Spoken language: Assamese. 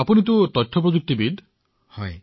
আপুনিতো তথ্য প্ৰযুক্তিখণ্ডত কাম কৰে